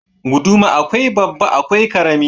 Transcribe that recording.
Guduma akwai babban akwai karama.